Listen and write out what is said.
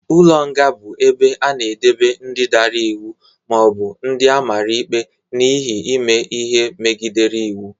Ụlọ nga bụ ebe a na-edebe ndị dara iwu ma ọ bụ ndị amara ikpe n'ihi ime ihe megidere iwu.